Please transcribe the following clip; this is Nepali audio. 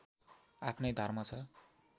आफ्नै धर्म छ